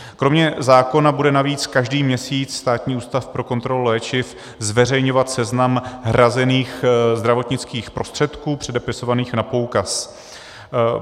Kromě zákona bude navíc každý měsíc Státní ústav pro kontrolu léčiv zveřejňovat seznam hrazených zdravotnických prostředků předepisovaných na poukaz.